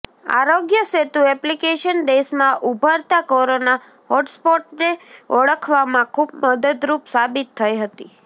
આરોગ્ય સેતુ એપ્લિકેશન દેશમાં ઉભરતા કોરોના હોટસ્પોટ્સને ઓળખવામાં ખૂબ મદદરૂપ સાબિત થઈ હતી